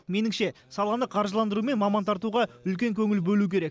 меніңше саланы қаржыландыру мен маман тартуға үлкен көңіл бөлу керек